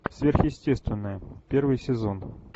сверхъестественное первый сезон